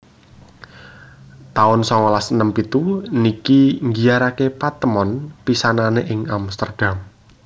taun songolas enem pitu niki nggiyaraké patemon pisanané ing Amsterdam